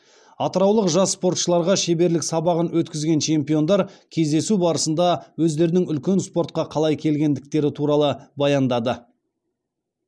атыраулық жас спортшыларға шеберлік сабағын өткізген чемпиондар кездесу барысында өздерінің үлкен спортқа қалай келгендіктері туралы баяндады